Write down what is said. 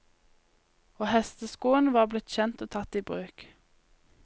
Og hesteskoen var blitt kjent og tatt i bruk.